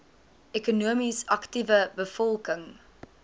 ekonomies aktiewe bevolking